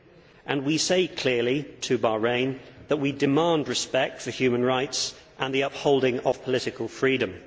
So we are now saying clearly to Bahrain that we demand respect for human rights and the upholding of political freedom.